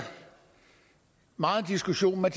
meget diskussion af